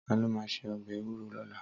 Tàló má sé òbè éwúró lòlá?